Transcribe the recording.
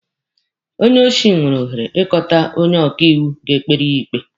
Onye osi nwere ohere ịkpọta onye ọkaiwu ga-ekpere ya ikpe.